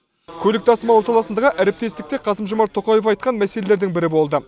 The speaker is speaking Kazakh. көлік тасымалы саласындағы әріптестік те қасым жомарт тоқаев айтқан мәселелердің бірі болды